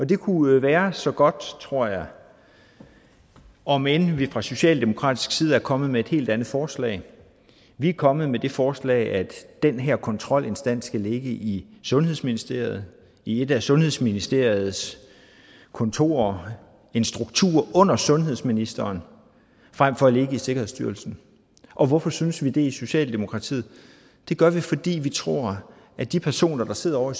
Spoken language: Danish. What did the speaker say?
det kunne være så godt tror jeg om end vi fra socialdemokratisk side er kommet med et helt andet forslag vi er kommet med det forslag at den her kontrolinstans skal ligge i sundhedsministeriet i et af sundhedsministeriets kontorer en struktur under sundhedsministeren frem for at ligge i sikkerhedsstyrelsen og hvorfor synes vi det i socialdemokratiet det gør vi fordi vi tror at de personer der sidder ovre